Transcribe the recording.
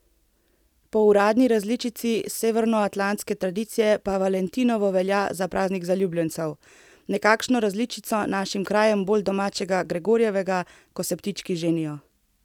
Po uradni različici severnoatlantske tradicije pa valentinovo velja za praznik zaljubljencev, nekakšno različico našim krajem bolj domačega gregorjevega, ko se ptički ženijo.